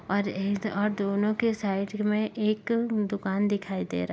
और यही से और दोनों के साइड में एक दुकान दिखाई दे रहा --